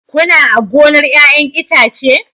Kuna a gonar 'ya'yan itace?